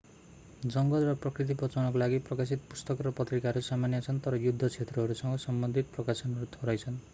जङ्गल र प्रकृति बचाउनका लागि प्रकाशित पुस्तक र पत्रिकाहरू सामान्य छन् तर युद्ध क्षेत्रहरूसँग सम्बन्धित प्रकाशनहरू थोरै छन्